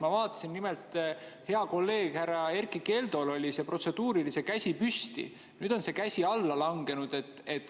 Ma vaatasin nimelt, et heal kolleegil Erkki Keldol oli protseduurilise käsi püsti, nüüd on käsi alla langenud.